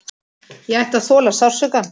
Ég ætti að þola sársaukann.